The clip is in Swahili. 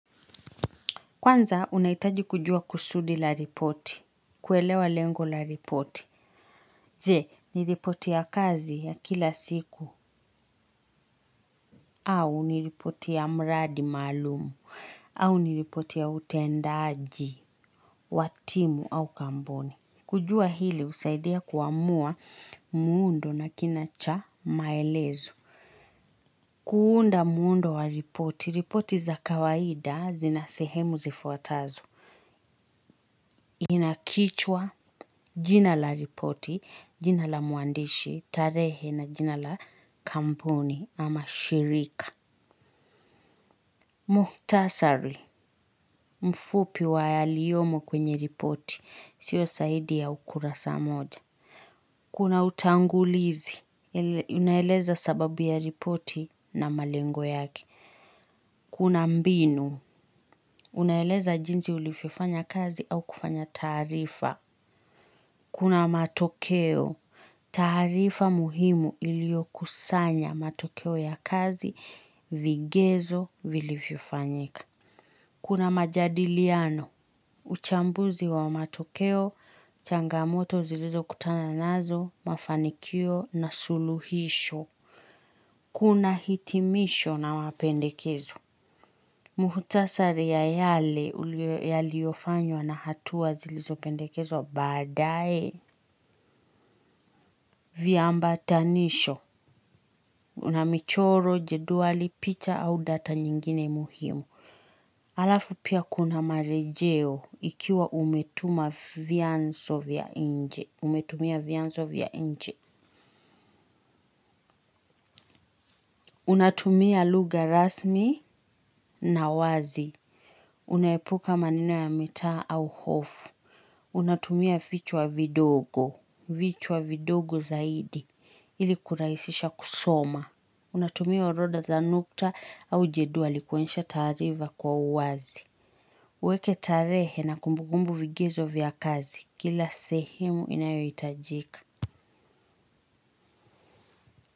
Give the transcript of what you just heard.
Kwanza, unaitaji kujua kusudi la ripoti, kuelewa lengo la ripoti. Je, ni ripoti ya kazi ya kila siku, au ni ripoti ya mradi maalum, au ni ripoti ya utendaji, wa timu au kamboni. Kujua hili, husaidia kuamua muundo na kina cha maelezo. Kuunda muundo wa ripoti, ripoti za kawaida zina sehemu zifuatazo. Ina kichwa jina la ripoti, jina la muandishi, tarehe na jina la kampuni ama shirika. Muhtasari, mfupi wa yaliyomo kwenye ripoti, sio saidi ya ukurasa moja. Kuna utangulizi, inaeleza sababu ya ripoti na malengo yake. Kuna mbinu, unaeleza jinsi ulifiofanya kazi au kufanya taarifa. Kuna matokeo, taarifa muhimu iliokusanya matokeo ya kazi vigezo vilivyofanyika. Kuna majadiliano, uchambuzi wa matokeo, changamoto zilizokutana nazo, mafanikio na suluhisho. Kuna hitimisho na wapendekezo. Mhutasari ya yale ulio yaliofanywa na hatua zilizopendekezwa baadae. Vyaambatanisho. Una michoro, jeduali, picha au data nyingine muhimu. Alafu pia kuna marejeo ikiwa umetuma vyanso vya inje. Umetumia vyanso vya inje. Unatumia lugha rasmi na wazi. Unaepuka maneno ya mitaa au hofu. Unatumia vichwa vidogo. Vichu wa vidogo zaidi. Ili kuraisisha kusoma. Unatumia orodha za nukta au jeduali kuonyesha taarifa kwa uwazi. Ueke tarehe na kumbugumbu vigizo vya kazi. Kila sehemu inayoitajika.